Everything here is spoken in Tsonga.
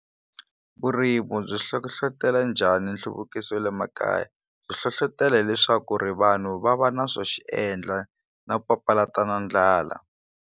Vurimu byi hlohlotela njhani nhluvukiso wa le makaya byi hlohlotela leswaku ri vanhu va va na swo xiendla na ku papalata na ndlala.